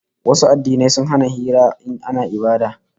Wasu addinai sun hana hira in ana ibada